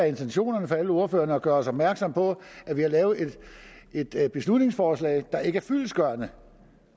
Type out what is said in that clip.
intentionen hos alle ordførerne har været at gøre os opmærksomme på at vi har lavet et et beslutningsforslag der ikke er fyldestgørende